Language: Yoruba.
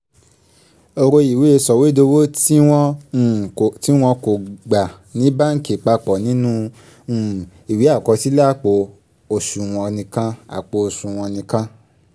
ro ìwé sọ̀wédowó tí wọ́n um kò gbà ní báǹkì papọ̀ nínú um ìwé àkọsílẹ̀ àpò òṣùwọ̀n nìkan àpò òṣùwọ̀n nìkan